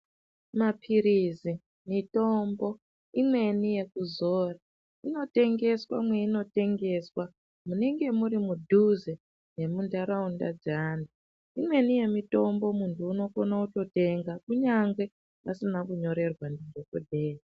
Mapirizi, mitombo imweni yekuzora inotengeswa mweino tengeswa munenge muri mudhuze nemundaraunda dzeantu imweni yemitombo muntu unogone kutotenga kunyangwe asina kutonyorerwa ndidhokodheya.